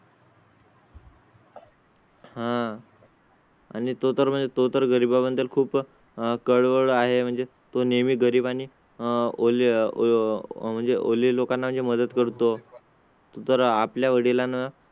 हा. आणि तो तर म्हणतो. तर गरीबां बद्दल खूप कळवळा आहे. म्हणजे तो नेहमी गरीब आणि आह म्हणजे ओले लोकांना मदत करतो. जर आपल्या वडिलांना